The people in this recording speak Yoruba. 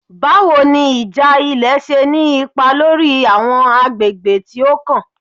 Bawo ni ija ilẹ ṣe ni ipa lori awọn agbegbe ti o kan?